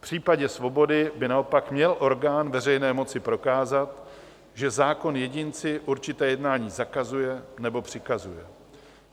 V případě svobody by naopak měl orgán veřejné moci prokázat, že zákon jedinci určité jednání zakazuje nebo přikazuje.